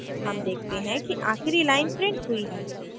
हम देखते हैं कि आखिरी line printed हुई है